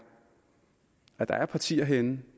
at der er partier herinde